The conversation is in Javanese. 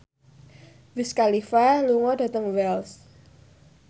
Wiz Khalifa lunga dhateng Wells